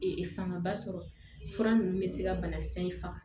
fangaba sɔrɔ fura nunnu bɛ se ka banakisɛ in faga